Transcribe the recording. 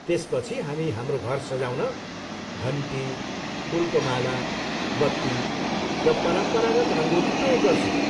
त्यसपछि हामी हाम्रो घर सजाउन घन्टी, फुलको माला, बत्ती र परम्परागत रङ्गोली प्रयोग गर्छौँ।